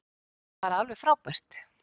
Bara alveg frábært.